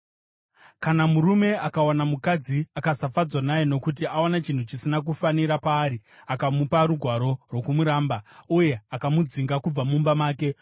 Kana murume akawana mukadzi akasafadzwa naye nokuti awana chinhu chisina kufanira paari, akamupa rugwaro rwokumuramba, uye akamudzinga kubva mumba make,